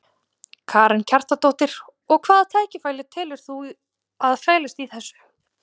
Karen Kjartansdóttir: Og hvaða tækifæri telur þú að felist í þessu?